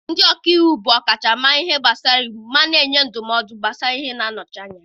Ndị ọka iwu bụ ọkachamara n'ihe gbasara iwu ma na-enye ndụmọdụ gbasara iwu na nnọchite anya.